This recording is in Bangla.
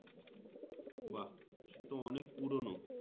বাহ সেট অনেক পুরোনো